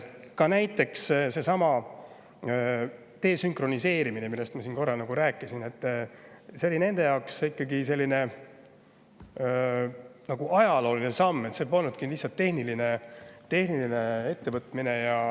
Ka näiteks seesama desünkroniseerimine, millest ma siin korra rääkisin, oli nende jaoks nagu ajalooline samm, see polnud lihtsalt tehniline ettevõtmine.